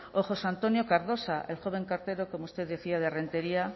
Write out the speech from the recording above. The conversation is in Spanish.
o josé antonio cardosa el joven cartero como usted decía de renteria